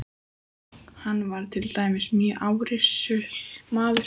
Hann var til dæmis mjög árrisull maður.